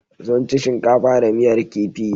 Sun ci shikafa da miyar kifi.